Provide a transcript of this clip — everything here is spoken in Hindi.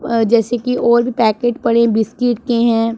अ जैसे की और भी पैकेट पड़े बिस्कुट के हैं।